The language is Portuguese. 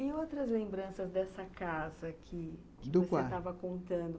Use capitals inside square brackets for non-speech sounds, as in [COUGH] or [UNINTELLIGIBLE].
E outras lembranças dessa casa que, do, [UNINTELLIGIBLE] que você estava contando?